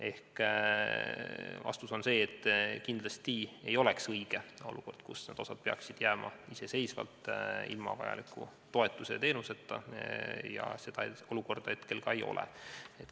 Ehk vastus on see, et kindlasti ei oleks õige olukord, kus nad osaliselt peaksid jääma ilma vajaliku toetuse ja teenuseta, ning sellist olukorda hetkel ka ei ole.